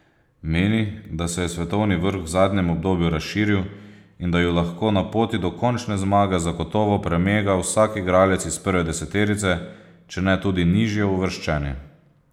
Meni, da se je svetovni vrh v zadnjem obdobju razširil in da ju lahko na poti do končne zmage zagotovo premega vsak igralec iz prve deseterice, če ne tudi nižjeuvrščeni.